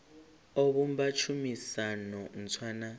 o vhumba tshumisano ntswa na